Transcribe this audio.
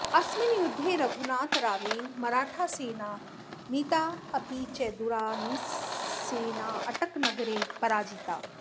अस्मिन् युद्धे रघुनाथरावेन मराठासेना नीता अपि च दुरानिसेना अटकनगरे पराजिता